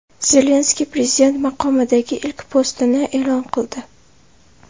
Zelenskiy prezident maqomidagi ilk postini e’lon qildi.